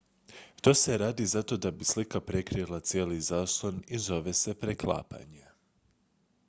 to se radi zato da bi slika prekrila cijeli zaslon i zove se preklapanje